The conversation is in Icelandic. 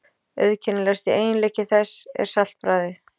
Auðkennilegasti eiginleiki þess er saltbragðið.